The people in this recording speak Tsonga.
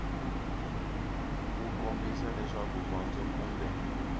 wu kombisa leswaku gondzo kumbe